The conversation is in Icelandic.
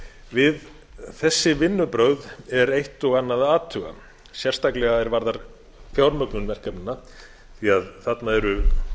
við þessi vinnubrögð er eitt og annað að athuga sérstaklega að því er varðar fjármögnun verkefnanna því þarna eru